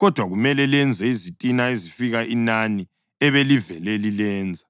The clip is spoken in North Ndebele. Kodwa kumele lenze izitina ezifika inani ebelivele lilenza.”